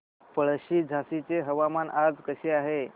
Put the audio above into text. पळशी झाशीचे हवामान आज कसे आहे